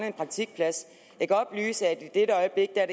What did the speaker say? en praktikplads jeg kan oplyse at i dette øjeblik er